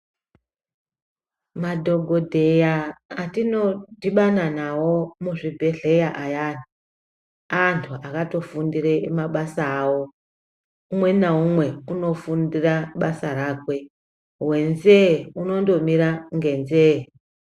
Madhokodheya atinodhibana nawo muzvibhedhleya ayani anthu akatofundire mabasa ao umwe naumwe unofundira basa rakwe wenzee unondomira ngenzee.